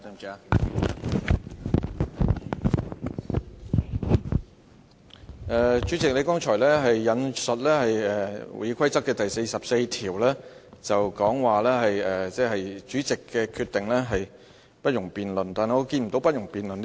主席，你剛才引述《議事規則》第44條，說主席的決定是不容辯論的，但我看不見該條載有"不容辯論"這4字。